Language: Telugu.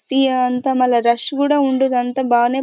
సీ అంతా మళ్ళ రష్ కూడా ఉండేదంతా బానే --